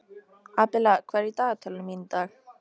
Abela, hvað er í dagatalinu mínu í dag?